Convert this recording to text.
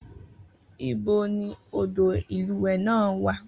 Ibo ni odò ìlúwẹ̀ẹ́ náà wà?